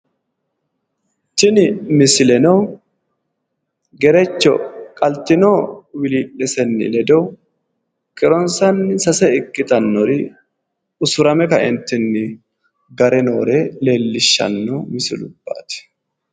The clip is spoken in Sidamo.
Tini misileno gerecho qaltino wiili'lisenni ledo kiironsanni sase ikkitannori usurame kaeentinni gare noore leellishshanno misilubbaati.